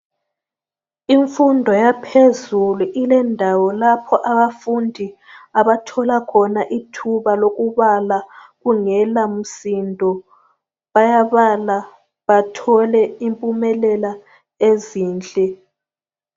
Imfundo yaphezulu ilendawo lapho abafundi abathola khona ithuba lokubala kungela msindo. Bayabala bathole impumelela ezinhle.